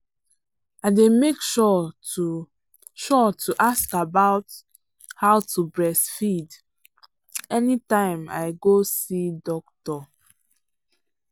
i day make sure to sure to ask about how to breastfeed anytime i go see doctor.